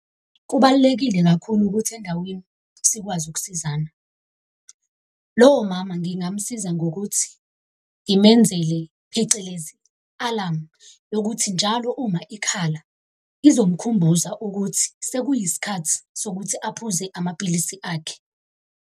Kubalulekile kakhulu ukuthi endaweni sikwazi ukusizana. Lowo mama ngingamusiza ngokuthi ngimenzele phecelezi, alarm yokuthi njalo uma ikhala ezomkhumbuza ukuthi sekuyisikhathi sokuthi aphuze amaphilisi akhe.